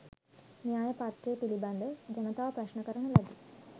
න්‍යයපත්‍ර පිළිබඳව ජනතාව ප්‍රශ්ණ කරන ලදී